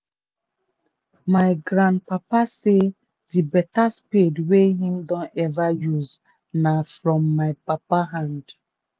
my grand papa say the beta spade wey him don ever use na from my papa hand.